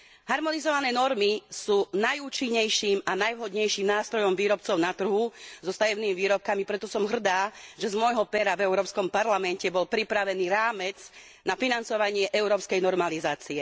Harmonizované normy sú najúčinnejším a najvhodnejším nástrojom výrobcov na trhu so stavebnými výrobkami, preto som hrdá, že z môjho pera v Európskom parlamente bol pripravený rámec na financovanie európskej normalizácie.